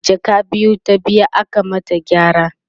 jaka biyu ta biya aka mata gyara